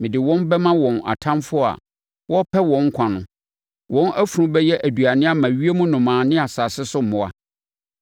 mede wɔn bɛma wɔn atamfoɔ a wɔrepɛ wɔn nkwa no. Wɔn afunu bɛyɛ aduane ama ewiem nnomaa ne asase so mmoa.